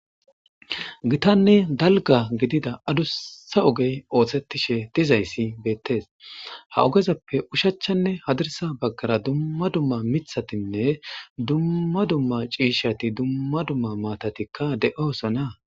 gittane daligga gidida adusa ogeyi osetishe dizayisi betesi ha ogezappe ushacharane hadirisa bagara duma duma mithatinne duma duma cishshatinne duma duma matati dossona